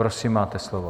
Prosím, máte slovo.